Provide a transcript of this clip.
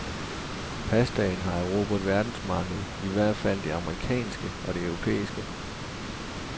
Pastaen har erobret verdensmarkedet, i hvert fald det amerikanske og det europæiske.